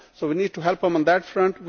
so we need to help them on that front.